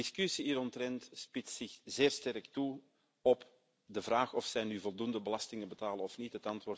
De discussie hieromtrent spitst zich zeer sterk toe op de vraag of zij nu voldoende belastingen betalen of niet.